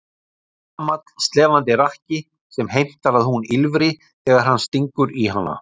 Gamall slefandi rakki sem heimtar að hún ýlfri þegar hann stingur í hana.